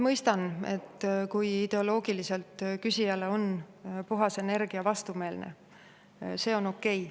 Mõistan, kui ideoloogiliselt on küsijale puhas energia vastumeelne, see on okei.